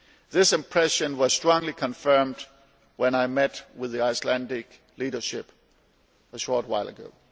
This impression was strongly confirmed when I met with the Icelandic leadership a short while ago.